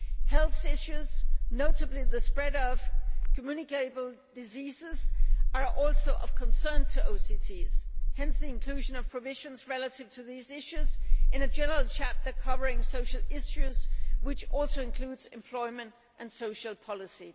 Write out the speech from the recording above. Health issues, notably the spread of communicable diseases, are also of concern to OCTs, hence the inclusion of provisions relative to these issues in a general chapter covering social issues and which also includes employment and social policy.